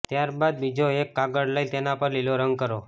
ત્યારબાદ બીજો એક કાગળ લઈ તેના પર લીલો રંગ કરો